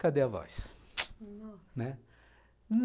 Cadê a voz? nossa... né?